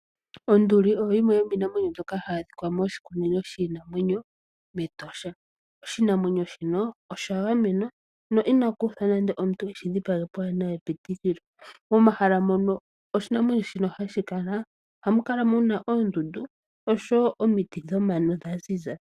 Onduli oyo yimwe yomiinamwenyo mbyoka hayi adhika moshikunino shiinamwenyo mEtosha. Oshinamwenyo shino osha gamenwa no ina kuuthwa nande omuntu eshi dhipage pwaana epitikilo .Momahala mono oshinamwenyo shino hashi kala ohamu kala muna oondundu oshowo omiti dhomano dha ziza.